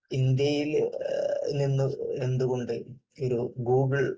ഇന്ത്യയിൽ നിന്ന് എന്തുകൊണ്ട് ഒരു ഗൂഗിൾ